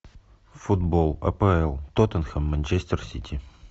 футбол апл тоттенхэм манчестер сити